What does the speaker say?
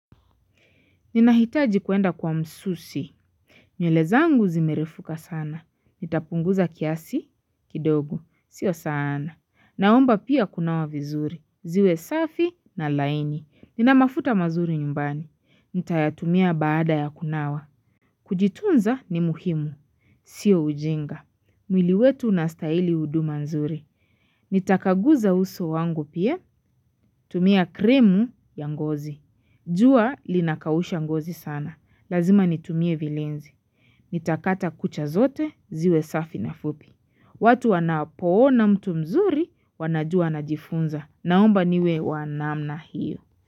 Ninahitaji kwenda kwa msusi. Nywele zangu zimerefuka sana. Nitapunguza kiasi, kidogo. Sio sana. Naomba pia kunawa vizuri. Ziwe safi na laini. Nina mafuta mazuri nyumbani. Nitayatumia baada ya kunawa. Kujitunza ni muhimu. Sio ujinga, mwili wetu unastahili huduma nzuri. Nitapaguza uso wangu pia. Tumia cream ya ngozi. Jua linakausha ngozi sana. Lazima nitumie vilenzi. Nitakata kucha zote, ziwe safi na fupi. Watu wanapoona mtu mzuri, wanajua anajifunza. Naomba niwe wa namna hii.